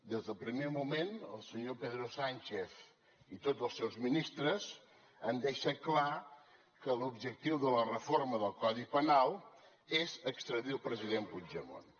des del primer moment el senyor pedro sánchez i tots els seus ministres han deixat clar que l’objectiu de la reforma del codi penal és extradir el president puigdemont